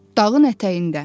Dağın ətəyində.